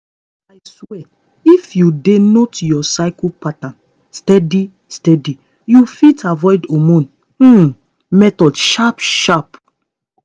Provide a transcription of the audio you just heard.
i swear if you dey note your cycle pattern steady steady you fit avoid hormone um method sharp sharp